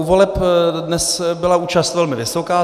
U voleb dnes byla účast velmi vysoká.